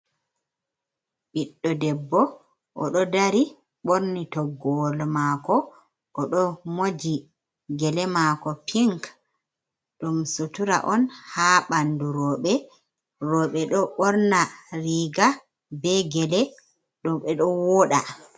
Ɓiɗɗo debbo, o ɗo dari ɓorni toggowol maako, o ɗo moji gele maako pink. Ɗum sutura on ha ɓandu rooɓe, rooɓe ɗo ɓorna riiga, be gele ɗum ɓe ɗo wooɗa.